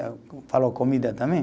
Falou, comida também.